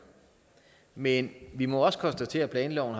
men vi må konstatere at planloven